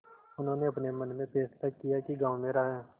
उन्होंने अपने मन में फैसला किया कि गॉँव मेरा है